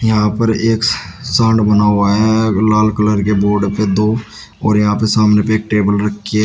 यहां पर एक साउंड बना हुआ है लाल कलर के बोर्ड पे दो और यहां पे सामने पे एक टेबल रखी है।